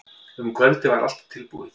Um kvöldið var allt tilbúið.